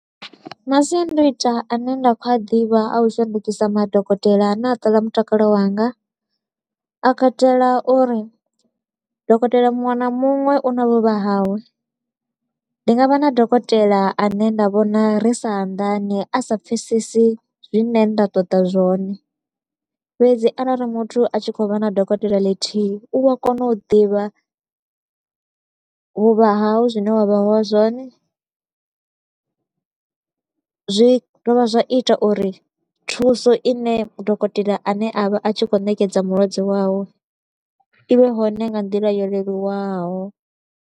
Masiandoitwa a ne nda kho u a ḓivha a u shandukisa madokotela a ne a ṱola mutakalo wanga, a katela uri dokotela muṅwe na muṅwe u na vhuvha hawe, ndi nga vha na dokotela a ne nda vhona ri sa anḓani, a sa pfesesi zwine nda ṱoḓa zwone. Fhedzi arali muthu a tshi kho u vha na dokotela ḽithihi, u vho kona u ḓivha vhuvha hau zwine wa ha vha zwone. Zwi dovha zwa ita uri thuso i ne dokotela a ne a vha a tshi kho u ṋekedza mulwadze wawe, i vhe hone nga nḓila yo leluwaho.